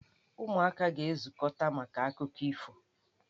Ụmụaka ga-ezukọta maka akụkọ ifo.